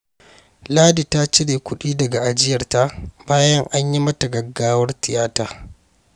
Ladi ta cire kuɗi daga ajiyarta bayan an yi mata gaggawar tiyata.